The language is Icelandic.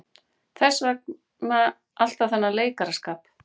Hvers vegna alltaf þennan leikaraskap.